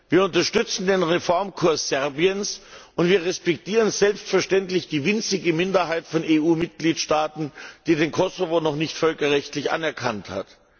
Wir unterstützen den Reformkurs Serbiens, und wir respektieren selbstverständlich die winzige Minderheit von EU Mitgliedstaaten, die den Kosovo noch nicht völkerrechtlich anerkannt hat.